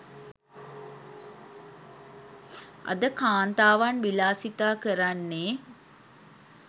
අද කාන්තාවන් විලාසිතා කරන්නේ